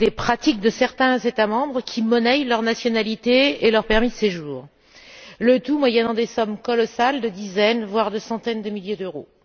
Des pratiques de certains États membres qui monnaient leur nationalité et leur permis de séjour, le tout moyennant des sommes colossales de dizaines voire de centaines, de milliers d'euros.